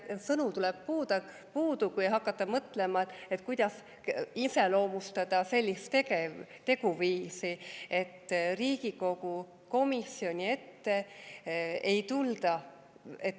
Sõnadest jääb puudu, kui hakata mõtlema, kuidas iseloomustada sellist teguviisi, et Riigikogu komisjoni ette ei tulda.